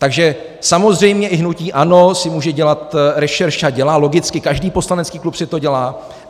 Takže samozřejmě i hnutí ANO si může dělat rešerši, a dělá logicky, každý poslanecký klub si to dělá.